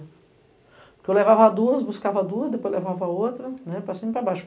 Porque eu levava duas, buscava duas, depois levava outra, para cima e para baixo.